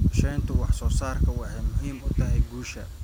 Qorshaynta wax soo saarku waxay muhiim u tahay guusha.